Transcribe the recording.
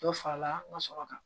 Dɔ farala n ka sɔrɔ kan